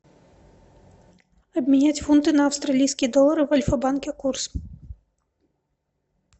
обменять фунты на австралийские доллары в альфа банке курс